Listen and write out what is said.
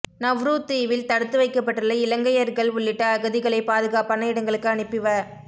Nauru தீவில் தடுத்து வைக்கப்பட்டுள்ள இலங்கையர்கள் உள்ளிட்ட அகதிகளை பாதுகாப்பான இடங்களுக்கு அனுப்பி வ